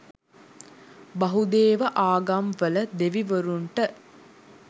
බහුදේව ආගම්වල දෙවිවරුන්ට